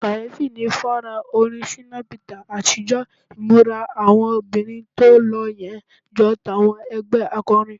Kàyéfì ni fọ́nrán orin Shina Peters àtijọ́, ìmúra àwọn obìnrin tó lo yẹn jọ tàwọn ẹgbẹ́ akọrin.